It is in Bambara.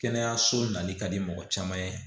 Kɛnɛyaso nali ka di mɔgɔ caman ye